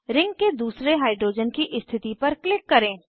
ring के दूसरे hydrogen की स्थिति पर क्लिक करें